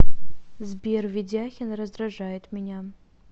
сбер ведяхин раздражает меня